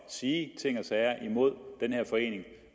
sige ting og sager imod den her forening